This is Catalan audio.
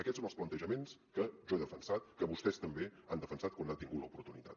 aquests són els plantejaments que jo he defensat que vostès també han defensat quan n’han tingut l’oportunitat